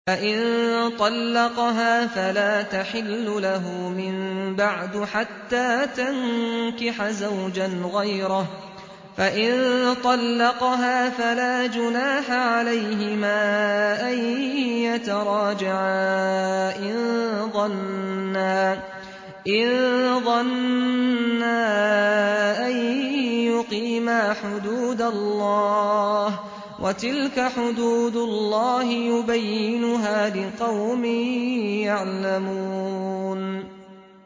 فَإِن طَلَّقَهَا فَلَا تَحِلُّ لَهُ مِن بَعْدُ حَتَّىٰ تَنكِحَ زَوْجًا غَيْرَهُ ۗ فَإِن طَلَّقَهَا فَلَا جُنَاحَ عَلَيْهِمَا أَن يَتَرَاجَعَا إِن ظَنَّا أَن يُقِيمَا حُدُودَ اللَّهِ ۗ وَتِلْكَ حُدُودُ اللَّهِ يُبَيِّنُهَا لِقَوْمٍ يَعْلَمُونَ